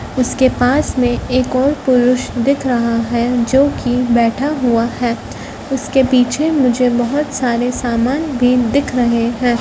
उसके पास में एक और पुरुष दिख रहा है जो कि बैठा हुआ है उसके पीछे मुझे बहुत सारे सामान भी दिख रहे हैं।